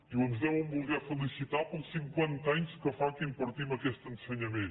diuen ens deuen voler felicitar pels cinquan ta anys que fa que impartim aquest ensenyament